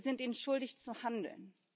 Wir sind ihnen schuldig, zu handeln.